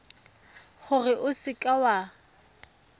gore o seka w a